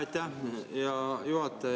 Aitäh, hea juhataja!